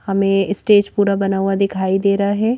हमें स्टेज पूरा बना हुआ दिखाई दे रहा है।